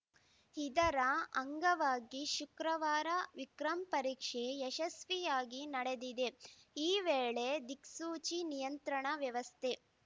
ಇದರ ಅಂಗವಾಗಿ ಶುಕ್ರವಾರ ವಿಕ್ರಮ್‌ ಪರೀಕ್ಷೆ ಯಶಸ್ವಿಯಾಗಿ ನಡೆದಿದೆ ಈ ವೇಳೆ ದಿಕ್ಸೂಚಿ ನಿಯಂತ್ರಣ ವ್ಯವಸ್ಥೆ